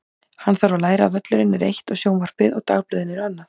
Hann þarf að læra að völlurinn er eitt og sjónvarpið og dagblöðin eru annað.